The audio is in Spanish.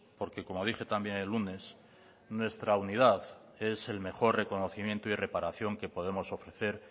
porque como dije también el lunes nuestra unidad es el mejor reconocimiento y reparación que podemos ofrecer